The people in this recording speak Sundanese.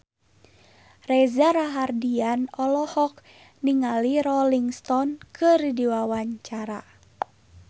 Reza Rahardian olohok ningali Rolling Stone keur diwawancara